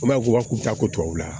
U b'a fɔ ko a tɛ taa kow la